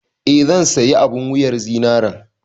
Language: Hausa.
Eh, zan sayi abun wuyar zinaren.